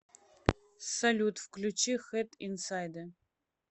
салют включи хэд инсайдэ